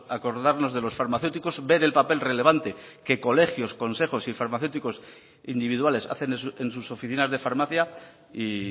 acordarnos de los farmacéuticos ver el papel relevante que colegios consejos y farmacéuticos individuales hacen en sus oficinas de farmacia y